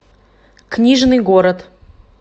книжный город